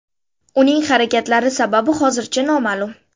Uning harakatlari sababi hozircha noma’lum.